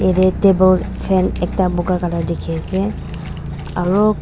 jaate table fan ekta boga colour dekhi ase aru--